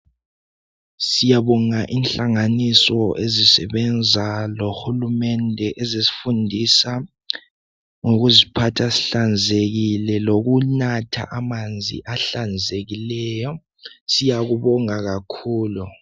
Siyabonga inhlanganiso ezisebenza lohulumende ezisifundisa ngokuziphatha sihlanzekile lokunatha amanzi ahlanzekileyo. Siyakubonga kakhulu.